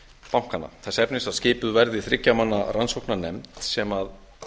bankanna þess efnis að skipuð verði þriggja manna rannsóknarnefnd sem